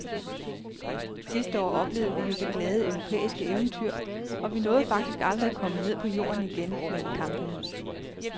Sidste år oplevede vi jo det glade europæiske eventyr, og vi nåede faktisk aldrig at komme ned på jorden igen mellem kampene.